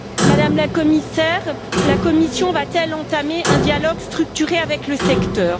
Madame la Commissaire, la Commission va t elle entamer un dialogue structuré avec le secteur?